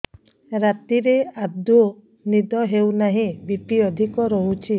ରାତିରେ ଆଦୌ ନିଦ ହେଉ ନାହିଁ ବି.ପି ଅଧିକ ରହୁଛି